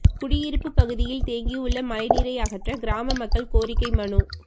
குடியிருப்பு பகுதியில் தேங்கியுள்ள மழைநீர் அகற்றக் கிராம மக்கள் கோரிக்கை மனு